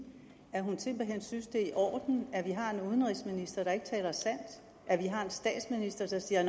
at hun simpelt hen synes det er i orden at vi har en udenrigsminister der ikke taler sandt at vi har en statsminister der siger